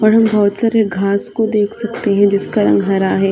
यहाँ बहुत सारी घास को देख सकते है जिसका रंग हरा है।